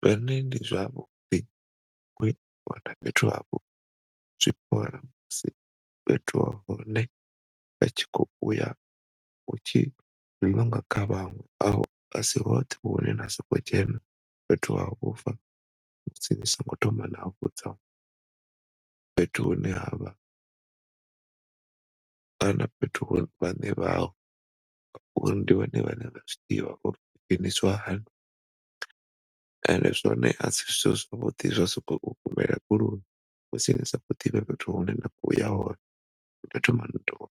Zwone ndi zwavhuḓi zwi bora musi fhethu ha hone hutshi kha vhanwe, asi hoṱhe hune na soko dzhena fhethu ha vhufha musi ni singo thoma na vhudza fhethu hune havha kana vhaṋe hao, ngori ndi vhone vhane vha zwiḓivha uri hu dzhenisa hani ende zwone asi zwithu musi ni sa kho ḓivha fhethu hune na khoya hone,